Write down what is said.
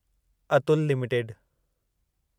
Atul limited